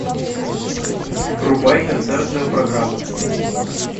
врубай концертную программу